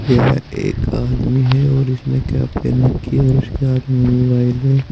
यह एक आदमी है और इसने कैप पहन रखी है और इसके हाथ में मोबाइल है।